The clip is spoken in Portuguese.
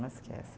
Não esquece.